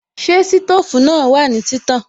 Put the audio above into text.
Ṣé sítòfù náà wà ní títàn?